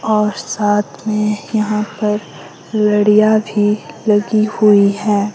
और साथ में यहां पर लड़ियां भी लगी हुई है।